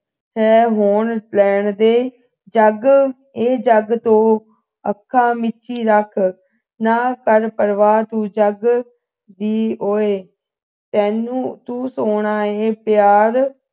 ਤੈਅ ਹੋ ਲੈਣ ਦੇ ਜੱਗ ਇਹ ਜੱਗ ਤੋਂ ਅੱਖਾਂ ਮੀਚੀ ਰੱਖ ਨਾ ਕਰ ਪਰਵਾਰ ਤੂੰ ਜੱਗ ਦੀ ਓਏ ਤੈਨੂੰ ਤੂੰ ਸੋਹਣਾ ਏ ਪਿਆਰ